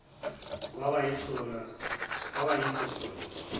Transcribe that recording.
kwaba yiso sona